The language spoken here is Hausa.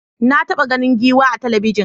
Na taɓa ganin giwa a talabijin.